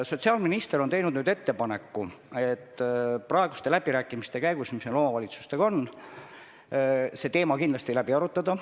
Sotsiaalminister on nüüd teinud ettepaneku praeguste läbirääkimiste käigus, mis meil omavalitsustega on, see teema kindlasti läbi arutada.